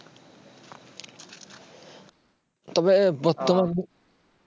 তবে বর্তমানে